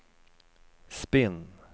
spinn